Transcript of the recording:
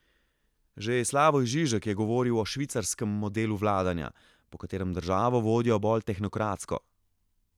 Že Slavoj Žižek je govoril o švicarskem modelu vladanja, po katerem državo vodijo bolj tehnokratsko.